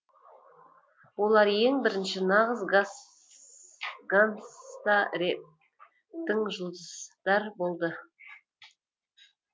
олар ең бірінші нағыз ганста рептің жұлдыздар болды